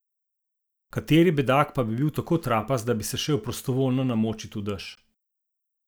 Kateri bedak pa bi bil tako trapast, da bi se šel prostovoljno namočit v dež?